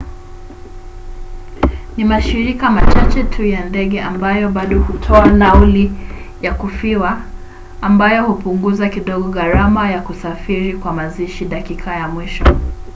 ni mashirika machache tu ya ndege ambayo bado hutoa nauli ya kufiwa ambayo hupunguza kidogo gharama ya kusafiri kwa mazishi dakika ya mwisho